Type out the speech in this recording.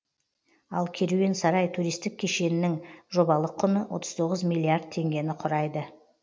ал керуен сарай туристік кешеннің жобалық құны отыз тоғыз миллиард теңгені құрайды